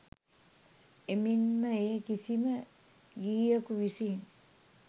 එමෙන් ම එය කිසිම ගිහියකු විසින්